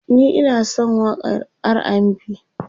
ni Ina San waƙan RAndB